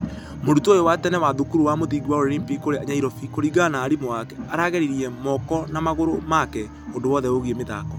Mũrutwo ũyũ wa tene wa thukuru wa mũthingi wa Olympic kũrĩa nyairobi kũringana na arimũ ake aragĩririe mũko na magũrũ make ũndũ wothe ũigie mĩthako.